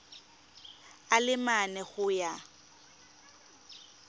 a le mane go ya